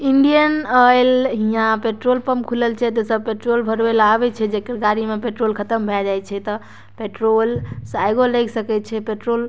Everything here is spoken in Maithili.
इंडियन ऑइल हियां पेट्रोल पंप खुलल छे त सब पेट्रोल भरवे ला आवी छे जेकर गाड़ी में पेट्रोल खत्म भै जाई छे ता पेट्रोल से आगो लग सकई छे पेट्रोल --